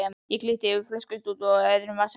Það glitti í flöskustút í öðrum vasanum.